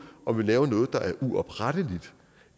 om vi laver noget der er uopretteligt